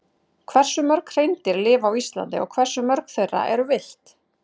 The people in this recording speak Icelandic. Hversu mörg hreindýr lifa á Íslandi og hversu mörg þeirra eru villt?